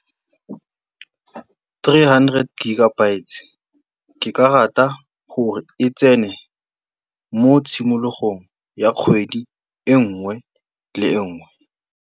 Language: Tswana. Three hundred gigabytes ke ka rata gore e tsene mo tshimologong ya kgwedi e nngwe le e nngwe.